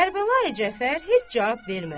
Kərbəlayı Cəfər heç cavab vermədi.